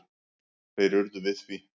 Þeir urðu við því.